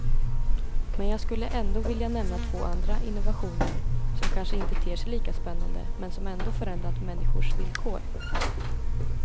Men jag skulle ändå vilja nämna två andra innovationer, som kanske inte ter sig lika spännande, men som ändå förändrat människors villkor.